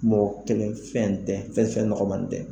Mɔgɔ kelen fɛn tɛ fɛn fɛn nɔgɔma tɛ.